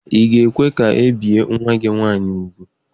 Ị ga-ekwe ka e bie nwa gị nwaanyị ugwu?